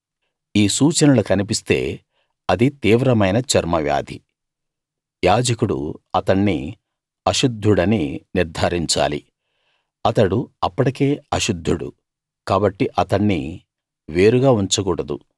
ఈ సూచనలు కన్పిస్తే అది తీవ్రమైన చర్మవ్యాధి యాజకుడు అతణ్ణి అశుద్ధుడని నిర్థారించాలి అతడు అప్పటికే అశుద్ధుడు కాబట్టి అతణ్ణి వేరుగా ఉంచకూడదు